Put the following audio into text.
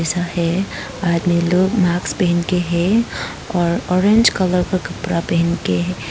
ये आदमी लोग मास्क पहन के है और ऑरेंज कलर का कपड़ा पहन के है।